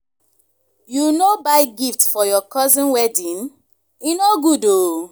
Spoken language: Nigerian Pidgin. you no buy gift for your cousin wedding? e no good oo